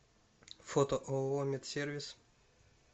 фото ооо метсервис